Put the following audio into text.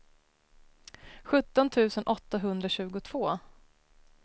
sjutton tusen åttahundratjugotvå